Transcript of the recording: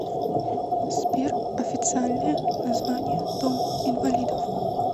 сбер официальное название дом инвалидов